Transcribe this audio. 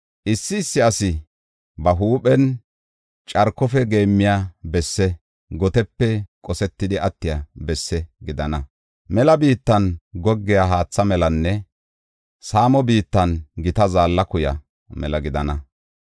Issi issi asi ba huuphen carkofe geemmiya bessi, gotepe qosetidi attiya bessi gidana. Mela biittan goggiya haatha melanne saamo biittan gita zaalla kuya mela gidana.